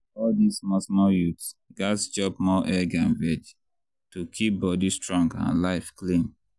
all dis small small youths gats chop more egg and veg to keep body strong and life clean.